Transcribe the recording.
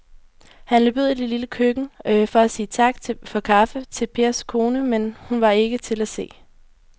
Han løb ud i det lille køkken for at sige tak for kaffe til Pers kone, men hun var ikke til at se.